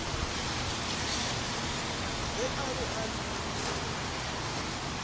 ge a be a le